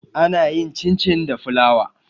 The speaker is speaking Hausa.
ana yin cin- cin da fulawa